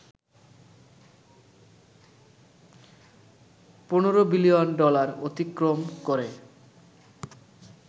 ১৫ billion dollar অতিক্রম করে